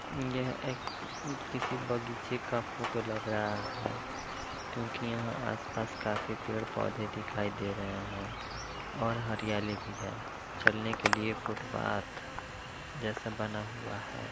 यह एक किसी बगीचे का फोटो लग रहा है क्योंकि यहाँ आसपास खाफी पेड़-पोधे दिखाई दे रहे है और हरियाली भी है चलने के लिए फुटपाथ जैसा बना हुआ है।